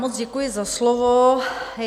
Moc děkuji za slovo.